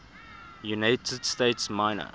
united states minor